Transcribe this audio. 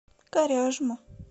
коряжму